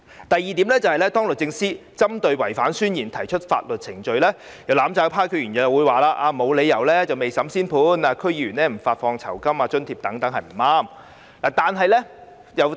第二，對於律政司司長可對違反誓言的人提出法律程序，有"攬炒派"區議員表示沒有理由未審先判，並指停止向區議員發放酬金和津貼等是不對的。